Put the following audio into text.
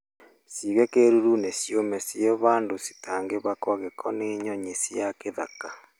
Ciige kĩruru-inĩ ciũme ciĩ handũ citangĩhako gĩko nĩ nyoni cia gĩthaka.